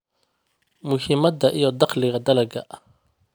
Muhiimadda iyo Dakhliga Dalagga